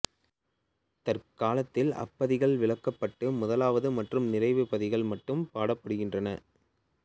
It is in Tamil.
தற்காலத்தில் அப்பத்திகள் விலக்கப்பட்டு முதலாவது மற்றும் நிறைவு பத்திகள் மட்டும் பாடப்படுகின்றன